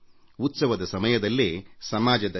ಉತ್ಸವದ ಸಮಯದಲ್ಲೇ ಸಮಾಜದ ಶಕ್ತಿಯ ನೈಜತೆಯ ಸಾಕಾರವಾಗುತ್ತದೆ